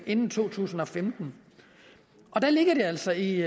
inden to tusind og femten og der ligger altså i